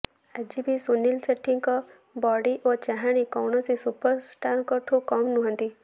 ଆଜିଭି ସୁନୀଲ ସେଠ୍ହିଙ୍କ ବଡି ଓ ଚାହାଣି କୌଣସି ସୁପରଷ୍ଟାରଙ୍କଠୁ କମ ନୁହନ୍ତି